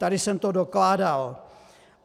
Tady jsem to dokládal.